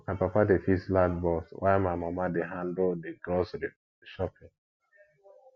my papa dey fix light bulbs while my mama dey handle the grocery shopping